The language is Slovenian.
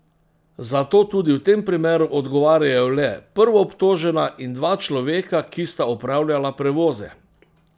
Zato tudi v tem primeru odgovarjajo le prvoobtožena in dva človeka, ki sta opravljala prevoze.